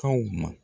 Kaw ma